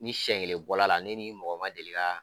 Ni siɲɛ kelen bɔra la ne ni mɔgɔ ma deli ka